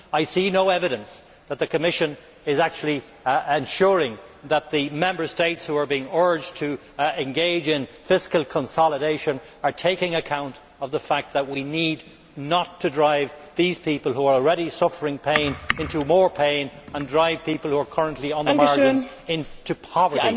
I see no evidence that the Commission is actually ensuring that the Member States being urged to engage in fiscal consolidation are taking account of the fact that we must not drive these people who are already suffering pain into more pain, and drive people who are currently on the margins into poverty.